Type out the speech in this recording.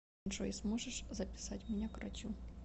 джой сможешь записать меня к врачу